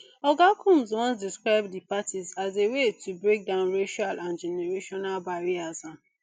oga combs once describe di parties as a way to break down racial and generational barriers um